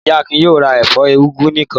Ìyá Akin yóò ra ẹ̀fọ́ úgú nìkan.